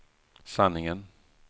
sanningen